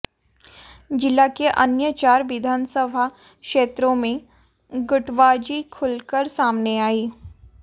जिला के अन्य चार विधानसभा क्षेत्रों में गुटबाजी खुलकर सामने आई